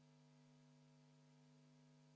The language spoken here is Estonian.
Tere hommikust, lugupeetud kolleegid!